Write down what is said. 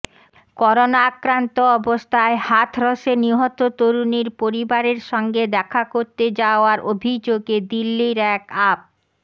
corona আক্রান্ত অবস্থায় হাথরসে নিহত তরুণীর পরিবারের সঙ্গে দেখা করতে যাওয়ার অভিযোগে দিল্লির এক আপ